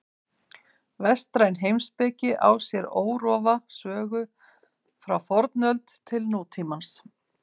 Vestræn heimspeki á sér órofa sögu frá fornöld til nútímans.